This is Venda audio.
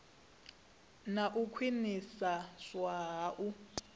na u khwiniswa ha u